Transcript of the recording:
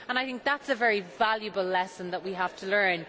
I think that is a very valuable lesson that we have to learn